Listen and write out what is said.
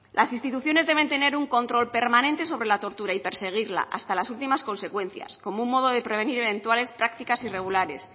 las instituciones deben tener un control permanente sobre la tortura y perseguirla hasta las últimas consecuencias como un modo de prevenir eventuales prácticas irregulares